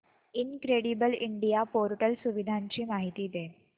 incredible India portal सुविधांची माहिती दे